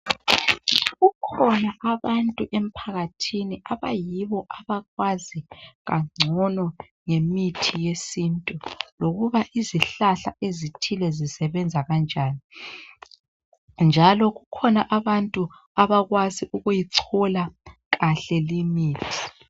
Kukhona abantu emphakathini abayibo abakwazi kangcono ngemithi yesintu lokuba izihlahla ezithile zisebenza kanjani njalo kukhona abantu abakwazi ukuyichola kahle limithi.